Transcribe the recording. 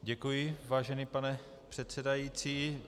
Děkuji, vážený pane předsedající.